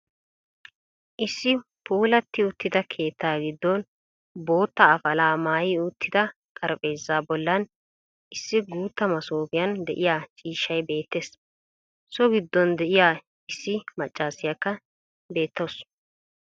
Issi puulati uttida keettaa giddon boottaa afalaa maayi uttida xarphpheezaa bollan issi guutta masooppiyan de'iya ciishshay beettees. So giddon de'iya issi maccassiyakka beettawusu.